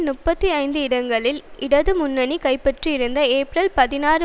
முப்பத்தி ஐந்து இடங்களை இடது முன்னணி கைப்பற்றியிருந்தது ஏப்ரல் பதினாறு